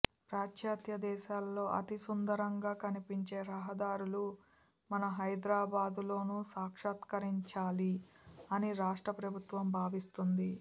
పాశ్చాత్య దేశాల్లో అతిసుందరంగా కనిపించే రహదారులు మన హైదరాబాద్లోనూ సాక్షాత్కరించాలి అని రాష్ట్ర ప్రభుత్వం భావిస్తోంది